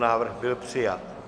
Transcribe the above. Návrh byl přijat.